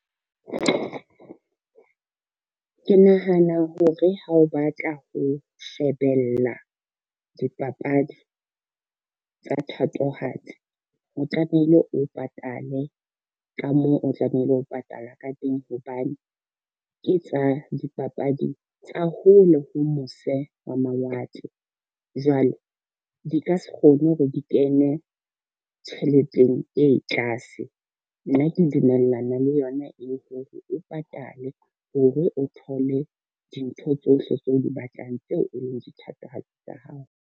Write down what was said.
Ke nahana hore ha o batla ho shebella dipapadi tsa thatohatsi, o tlamehile o patale ka moo o tlamehile ho patala ka teng hobane ke tsa dipapadi tsa hole ho mose hwa mawatle. Jwale di ka se kgone hore di kene tjheleteng e tlase, nna ke dumellana le yona eo hore o patale, hore o thole dintho tsohle tseo o di batlang tseo e leng dithatohatsi tsa hao.